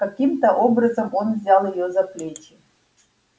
каким то образом он взял её за плечи